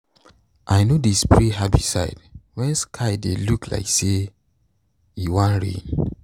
i no dey spray herbicide when sky dey look like say e wan rain.